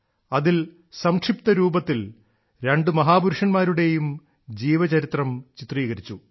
അതിൽ സംക്ഷിപ്ത രൂപത്തിൽ രണ്ടു മഹാപുരുഷന്മാരുടെയും ജീവചരിത്രം ചിത്രീകരിച്ചു